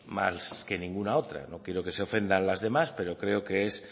más que ninguna otra no quiero que se ofenda las demás pero creo que es